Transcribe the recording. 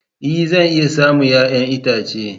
Ee! Zan iya samun 'ya'yan itace.